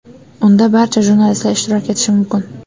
Unda barcha jurnalistlar ishtirok etishi mumkin.